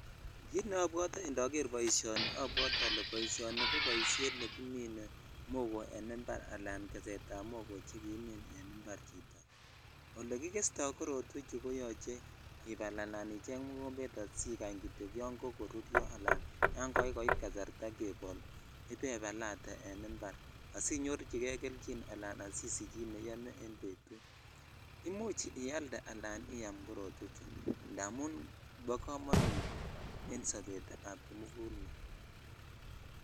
Kit neobwote indoger boisionni obwotee ole ni koboishen nekimin mogoo en impar ala gest am mogoo chekikimin en impar ole gigesto korotweyo ko yoche ibal en impar al icheng mokombe asikanhmy kityok yon kokoruru ibebal ala yan kakoit kasarta kebel ivevalate amen impar asinyorchikei kelchin ala asiaich ki neiyome en betut imuch ialde ala iyam kototwechu indamun bo komonut en sobet ab komogulmet.